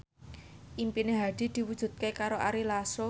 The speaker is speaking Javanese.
impine Hadi diwujudke karo Ari Lasso